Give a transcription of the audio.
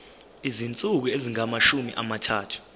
izinsuku ezingamashumi amathathu